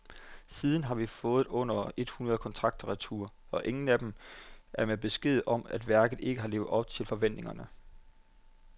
Siden har vi fået under et hundrede kontrakter retur, og ingen af dem er med beskeden om, at værket ikke har levet op til forventningerne.